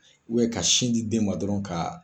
ka sin di den ma dɔrɔn ka